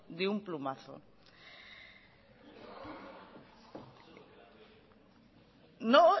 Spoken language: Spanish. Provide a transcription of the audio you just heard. de un plumazo no